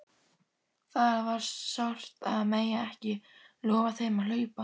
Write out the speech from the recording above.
Það var sárt að mega ekki lofa þeim að hlaupa!